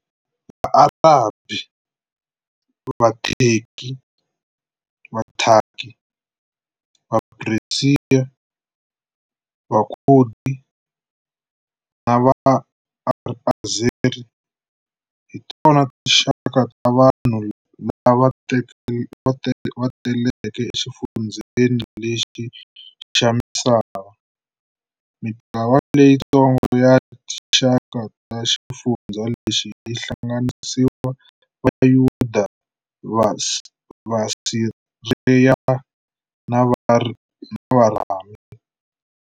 Va-Arabhi, VuThaki, VaPeresiya, VaKhudi na VaAzeri hi tona tinxaka ra vanhu lava teleke exifundzeni lexi xa misava. Mintlawa leyitsongo ya tinxaka ta xifundza lexi yihlanganisa Vayuda, VaSiriya na Varami.